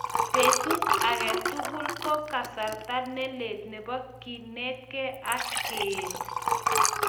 Petut age tugul ko kasarta nelel nebo kenetkei ak keet